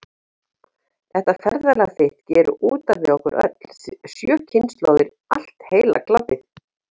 Þetta ferðalag þitt gerir út af við okkur öll, sjö kynslóðir, allt heila klabbið.